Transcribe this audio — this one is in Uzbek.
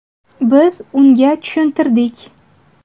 Biz unga tushuntirdik.